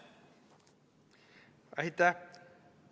Aitäh!